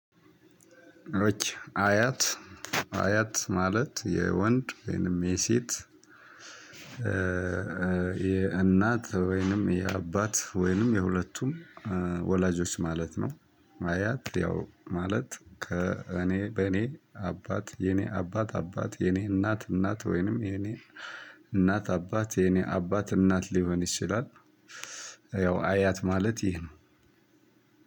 አያት አያት ማለት የወንድ ወይንም የሴት የእናት ወይንም የአባት ወይንም የሁለቱም ወላጆች ማለት ነው። አያት ያው ማለት ከእኔ በእኔ አባት የኔ አባት አባት የኔ እናት እናት ወይንም የኔ እናት አባት የኔ አባት እናት ሊሆን ይችላል። ያው አያት ማለት ይህ ነው።